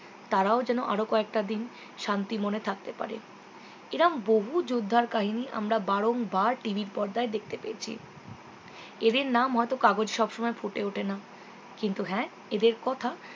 তারাও যেন আর কয়েকটা দিন শান্তি মনে থাকতে পারে এরকম বহু যোদ্ধার কাহিনী আমরা বারং বার TV র পর্দায় দেখতে পেয়েছি এদের নাম হয়তো কাগজ সবসময় ফুটে উঠেনা কিন্তু হ্যাঁ এদের কথা